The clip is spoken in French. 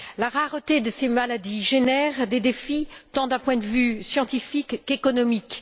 La rareté de ces maladies génère des défis tant d'un point de vue scientifique qu'économique.